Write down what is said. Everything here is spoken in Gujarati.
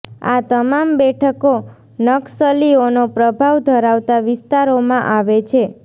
આ તમામ બેઠકો નક્સલીઓનો પ્રભાવ ધરાવતા વિસ્તારોમાં આવે છે